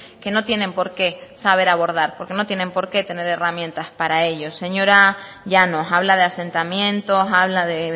que no tienen porqué saber abordar porque no tienen porqué tener herramientas para ello señora llanos habla de asentamientos habla de